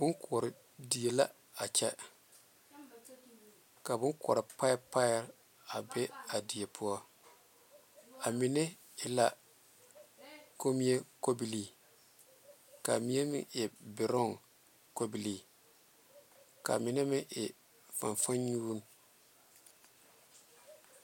Boŋ kore di la a kyɛ ka boŋ kore pɛpɛ be a die poɔ a mine e la komii kobile kaa mine meŋ e beroŋ kaa mine meŋ e fanfannyubo.